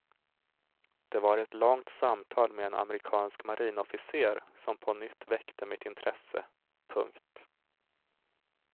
Det var ett långt samtal med en amerikansk marinofficer som på nytt väckte mitt intresse. punkt